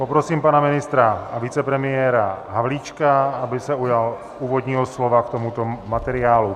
Poprosím pana ministra a vicepremiéra Havlíčka, aby se ujal úvodního slova k tomuto materiálu.